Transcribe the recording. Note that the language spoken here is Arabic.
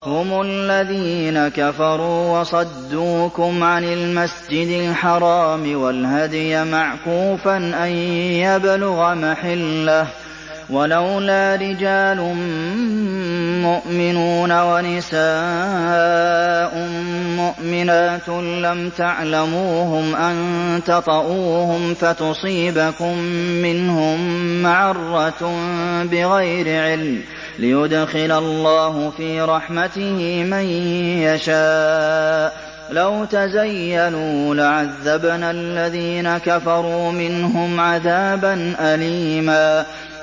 هُمُ الَّذِينَ كَفَرُوا وَصَدُّوكُمْ عَنِ الْمَسْجِدِ الْحَرَامِ وَالْهَدْيَ مَعْكُوفًا أَن يَبْلُغَ مَحِلَّهُ ۚ وَلَوْلَا رِجَالٌ مُّؤْمِنُونَ وَنِسَاءٌ مُّؤْمِنَاتٌ لَّمْ تَعْلَمُوهُمْ أَن تَطَئُوهُمْ فَتُصِيبَكُم مِّنْهُم مَّعَرَّةٌ بِغَيْرِ عِلْمٍ ۖ لِّيُدْخِلَ اللَّهُ فِي رَحْمَتِهِ مَن يَشَاءُ ۚ لَوْ تَزَيَّلُوا لَعَذَّبْنَا الَّذِينَ كَفَرُوا مِنْهُمْ عَذَابًا أَلِيمًا